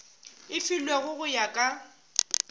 e filwego go ya ka